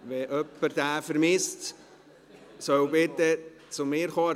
Wer diesen vermisst, soll zu mir kommen.